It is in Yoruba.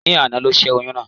Ní àná ni ó sè oyún náà